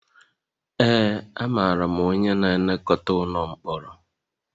Ee, amaara m onye na-elekọta ụlọ mkpọrọ